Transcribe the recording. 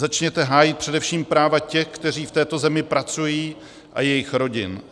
Začněte hájit především práva těch, kteří v této zemi pracují, a jejich rodin.